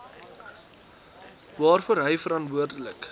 waarvoor hy verantwoordelik